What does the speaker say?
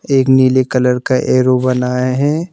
एक नीले कलर का एरो बनाए हैं।